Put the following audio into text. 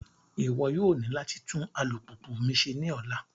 Iwọ yoo ni lati tun alupupu mi ṣe ni ọla!